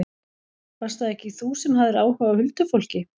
Varst það ekki þú sem hafðir áhuga á huldufólki?